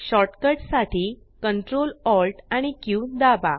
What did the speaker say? shortcut साठी Ctrl Alt आणि Q दाबा